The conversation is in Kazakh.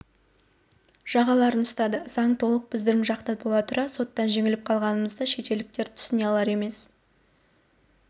жағаларын ұстады заң толық біздің жақта бола тұра соттан жеңіліп қалғанымызды шетелдіктер түсіне алар емес